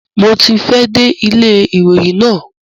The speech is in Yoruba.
Mo ti fẹ́ ẹ̀ dé ilé ìròyìn náà.